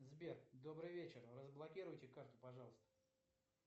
сбер добрый вечер разблокируйте карту пожалуйста